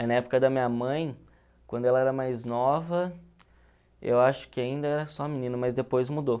Aí na época da minha mãe, quando ela era mais nova, eu acho que ainda era só menina, mas depois mudou.